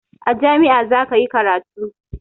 A jami'ah zakayi karatu